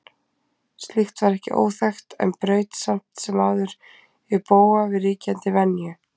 Slíkt var ekki óþekkt en braut samt sem áður í bága við ríkjandi venju.